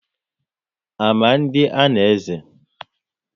Ama ndị a na-eze?